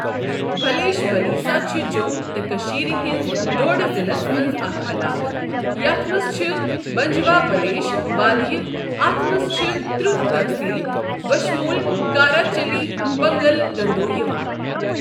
بھلیش بھلیسہ چھ جۆم تہٕ کٔشیٖر ہِنز ڈۄڈ ضِلعس منٛز اَكھ عَلاقہٕ یَتھ مَنٛز چھ بنٛجواہ بھلیش وٲدیہ اتھ منٛز چھ ترہ تحصیل بشمول کارہ چلی پنگل گندو یوان۔